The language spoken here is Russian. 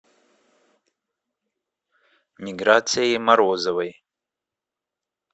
миграцией морозовой